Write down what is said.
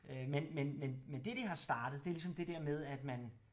Øh men men men men det det har startet det er ligesom det dér med at man